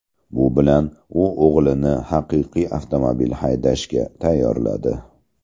Bu bilan u o‘g‘lini haqiqiy avtomobil haydashga tayyorladi.